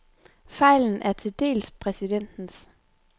Fejlen er til dels præsidentens.